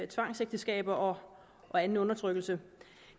tvangsægteskaber og anden undertrykkelse